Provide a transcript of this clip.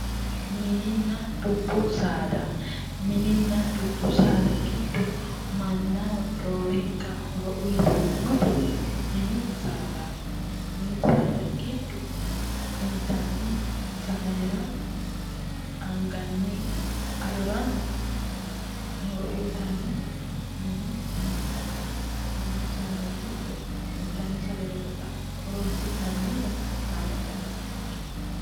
Mininna dubbu saada, mininna dubbu saada giddo mannaho roorinka horo uyittanoti mini saadati ,mini saada giddo intanni sagalerano anganni adorano horo uyittanoti mini saadati ,mini saada giddo intanni sagalera horonsi'nannitta lame xawisenke.